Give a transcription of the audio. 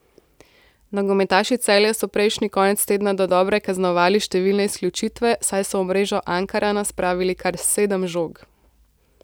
Nogometaši Celja so prejšnji konec tedna dodobra kaznovali številne izključitve, saj so v mrežo Ankarana spravili kar sedem žog.